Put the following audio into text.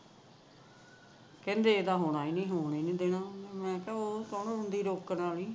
ਕਹਿੰਦੀ ਇਹਦਾ ਹੋਣਾ ਨੀ ਹੋ ਈ ਨਹੀ ਰਿਹਾ ਮੈ ਕਿਹਾ ਤੂੰ ਕੌਣ ਹੁੰਦੀ ਐ ਰੋਕਣ ਵਾਲੀ